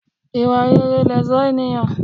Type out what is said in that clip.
Ìwà rere lẹ̀ṣó ènìyàn.